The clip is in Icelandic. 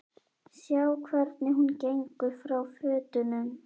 Sjá hvernig hún gengur frá fötunum.